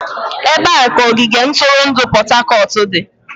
Ebee ka ogige ntụrụndụ Port Harcourt dị?